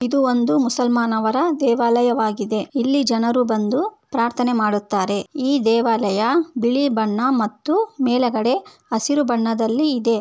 ಇದು ಒಂದು ಮುಸಲ್ಮಾನರ ದೇವಾಲಯವಾಗಿದೆ. ಇಲ್ಲಿ ಜನರು ಬಂದು ಪ್ರಾರ್ಥನೆ ಮಾಡುತ್ತಾರೆ. ಈ ದೇವಾಲಯ ಬಿಳಿ ಬಣ್ಣ ಮತ್ತು ಮೇಲಗಡೆ ಹಸಿರು ಬಣ್ಣದಲಿ ಇದೆ.